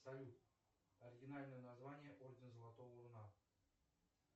салют оригинальное название ордена золотого руна